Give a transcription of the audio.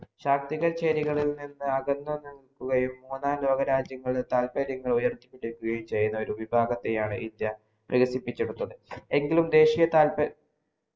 ശാക്തിക ചേരികളിൽ നിന്ന് അകന്നു നിക്കുകയും മൂന്നാം ലോക രാജയങ്ങളിൽ താല്പര്യം ഉയർത്തിപിടിക്കുകായും ചെയ്യുന്ന ഒരു വിഭാഗത്തെയാണ് ഇന്ത്യ എങ്കിലും ദേശിയ താല്പര്യങ്ങൾ